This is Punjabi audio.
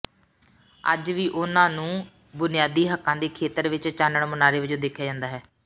ਅੱਜ ਵੀ ਉਨ੍ਹਾਂ ਨੂੰ ਬੁਨਿਆਦੀ ਹੱਕਾਂ ਦੇ ਖੇਤਰ ਵਿੱਚ ਚਾਨਣ ਮੁਨਾਰੇ ਵਜੋਂ ਦੇਖਿਆ ਜਾਂਦਾ ਹੈ